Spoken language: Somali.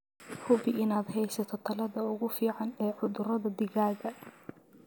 Hubi inaad haysato tallaalada ugu fiican ee cudurada digaaga.